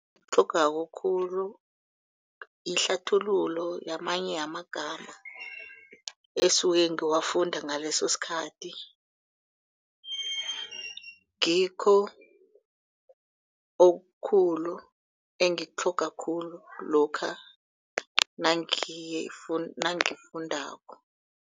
khulu ihlathululo yamanye yamagama esuke ngiwafunda ngaleso sikhathi. Ngikho okhulu engikutlhogako khulu lokha nangikufundako.